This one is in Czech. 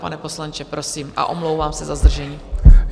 Pane poslanče, prosím, a omlouvám se za zdržení.